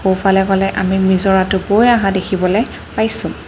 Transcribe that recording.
ইফালে গলে আমি নিজৰাটো বই অহা দেখিবলৈ পাইছোঁ।